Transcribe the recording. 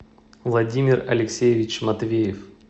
владимир алексеевич матвеев